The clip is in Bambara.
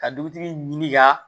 Ka dugutigi ɲini ka